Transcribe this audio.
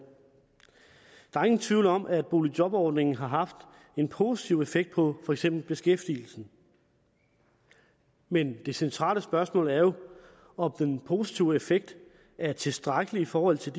der er ingen tvivl om at boligjobordningen har haft en positiv effekt på for eksempel beskæftigelsen men det centrale spørgsmål er jo om den positive effekt er tilstrækkelig i forhold til